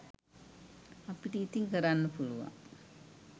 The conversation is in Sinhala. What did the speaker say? අපිට ඉතින් කරන්න පුළුවන්